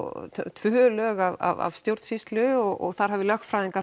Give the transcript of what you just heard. tvö lög af stjórnsýslu og þar hafi lögfræðingar